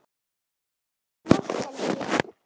Góða nótt, Helgi.